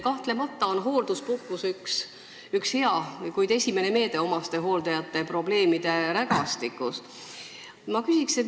Kahtlemata on hoolduspuhkus hea, kuid alles esimene meede omastehooldajate probleemide rägastikus.